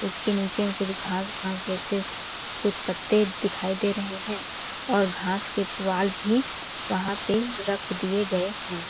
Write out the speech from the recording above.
उसके नीचे में कुछ घास घास जैसे कुछ पत्ते दिखाई दे रहे हैं और घास के पुवाल भी वहाँ पे रख दिए गए हैं।